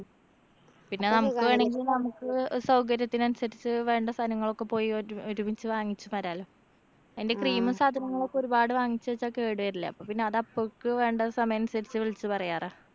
പിന്നെ നമുക്ക് വേണെങ്കി നമുക്ക് അഹ് സൗകര്യത്തിനനുസരിച്ച് വേണ്ട സാധനങ്ങളൊക്കെ പോയി ഒരു ഒരുമിച്ച് വാങ്ങിച്ച് വരാലോ. അയിന്‍റെ cream ഉം സാധനങ്ങളൊക്കെ ഒരുപാട് വാങ്ങിച്ച് വച്ചാ കേട് വരില്ലേ? അപ്പോ പിന്നെ അതപ്പഴക്ക് വേണ്ട സമയനുസരിച്ച് വിളിച്ച് പറയാറാ.